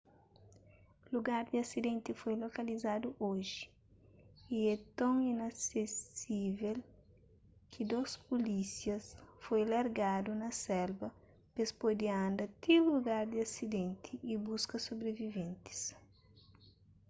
lugar di asidenti foi lokalizadu oji y é ton inasesível ki dôs pulísias foi largadu na selva pes pode anda ti lugar di asidenti y buska sobriviventis